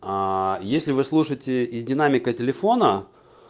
аа если вы слушаете из динамика телефона